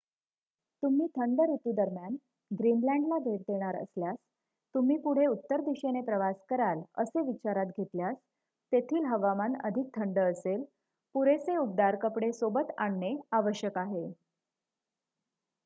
तुम्ही थंड ऋतू दरम्यान ग्रीनलँडला भेट देणार असल्यास तुम्ही पुढे उत्तर दिशेने प्रवास कराल असे विचारात घेतल्यास तेथील हवामान अधिक थंड असेल. पुरेसे उबदार कपडे सोबत आणणे आवश्यक आहे